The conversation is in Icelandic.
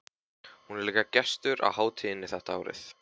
Hún er líka gestur á hátíðinni þetta árið.